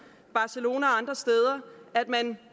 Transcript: barcelona og andre steder at man